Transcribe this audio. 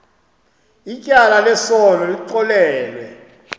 ityala lesono lixolelwe